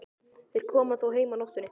Þeir koma þó heim á nóttunni.